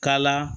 Kala